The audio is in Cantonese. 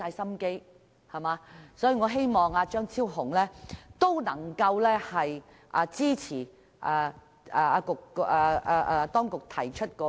所以，我希望張議員能支持政府當局提出的修訂。